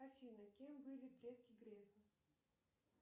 афина кем были предки грефа